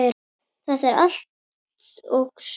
Þetta er allt og sumt